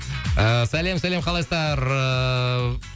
ыыы сәлем сәлем қалайсыздар ыыы